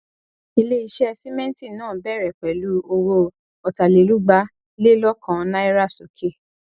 ileiṣẹ sìmẹntì náà bẹrẹ pẹlú owó otalerugba lè lọkan náírà sókè